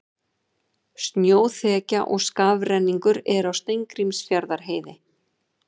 Snjóþekja og skafrenningur er á Steingrímsfjarðarheiði